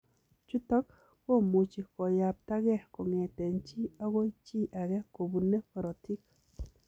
Chutok komuchii koyapta gei kongete chi agoi chi agee kobunee korotik.